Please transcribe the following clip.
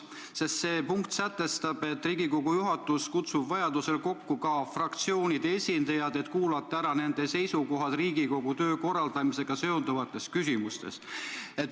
See punkt sätestab, et Riigikogu juhatus kutsub vajadusel kokku fraktsioonide esindajad, et kuulata ära nende seisukohad Riigikogu töö korraldamisega seonduvates küsimustes.